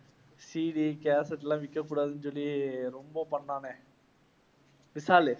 CD cassette எல்லாம் விக்கக் கூடாதுன்னு சொல்லி ரொம்ப பண்ணானே விஷாலு.